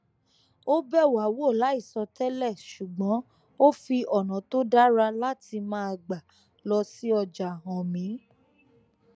ó bẹ wá wò láìsọ tẹlẹ ṣùgbón ó fi ònà tó dára láti máa gbà lọ sí ọjà hàn mí